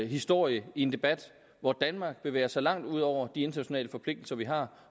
historie i en debat hvor danmark bevæger sig langt ud over de internationale forpligtelser vi har